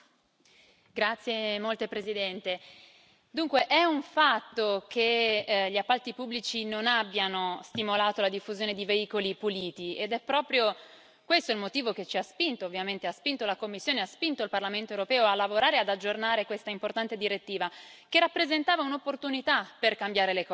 Signor Presidente, onorevoli colleghi, è un fatto che gli appalti pubblici non abbiano stimolato la diffusione di veicoli puliti ed è proprio questo il motivo che ci ha spinto, ovviamente, che ha spinto la Commissione e ha spinto il Parlamento europeo a lavorare e ad aggiornare questa importante direttiva, che rappresentava un'opportunità per cambiare le cose.